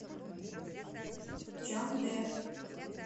чандэ